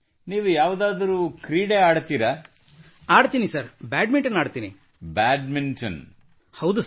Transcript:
ಶಾಲೆಯಲ್ಲಿ ಅಥವಾ ಯಾವುದಾದರೂ ತರಬೇತಿ ಪಡೆಯಲು ನಿಮಗೆ ಅವಕಾಶ ದೊರೆತಿತ್ತೇ in a school or you have any chance to take a training